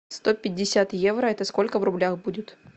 сто пятьдесят евро это сколько в рублях будет